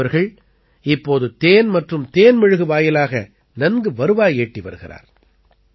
நிமித் அவர்கள் இப்போது தேன் மற்றும் தேன் மெழுகு வாயிலாக நன்கு வருவாய் ஈட்டி வருகிறார்